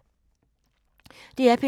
DR P3